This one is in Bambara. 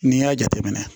N'i y'a jateminɛ